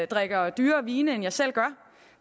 drikker dyrere vine end jeg selv gør